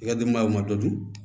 I ka denbayaw ma dɔ ju